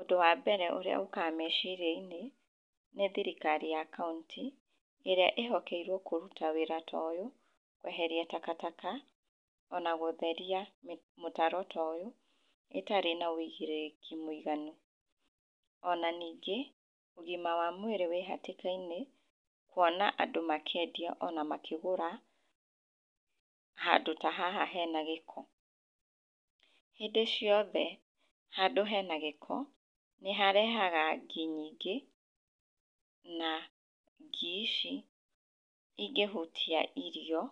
Ũndũ wa mbere ũrĩa ũkaga meciria-inĩ nĩ thirikari ya kaũntĩ ĩrĩa ĩ hokeirwo kũruta wĩra ta ũyũ, kweherira takataka ona gũtheria mũtaro ta ũyũ ĩtarĩ na ũigĩrĩrĩki mũiganu. Ona ningĩ, ũgima wa mwĩrĩ wĩ hatĩka-inĩ, kuona andũ makĩendia ona makĩgũra handũ ta haha hena gĩko. Hĩndĩ ciothe handũ hena gĩko, nĩ harehaga ngi nyingĩ na ngi ici ingĩhutia irio